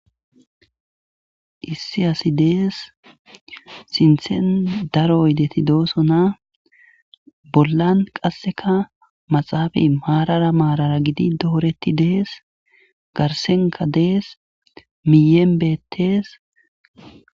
Issi asi dees sinthen daro oydeti doosona bollan qasseka maxaaba maarara maarara gidi dooretti dees garsenka dees miyeenbettees